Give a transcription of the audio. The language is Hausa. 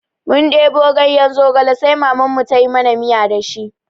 Mun ɗebo ganye zogale sai Mamanmu ta yi mana miya da shi.